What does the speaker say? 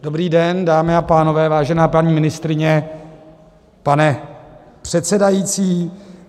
Dobrý den, dámy a pánové, vážená paní ministryně, pane předsedající.